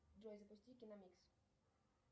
джой запусти киномикс